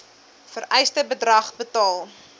vereiste bedrag betaal